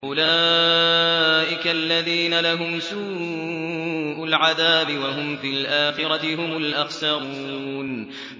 أُولَٰئِكَ الَّذِينَ لَهُمْ سُوءُ الْعَذَابِ وَهُمْ فِي الْآخِرَةِ هُمُ الْأَخْسَرُونَ